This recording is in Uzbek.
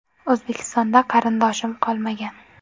O‘zbekistonda qarindoshim qolmagan.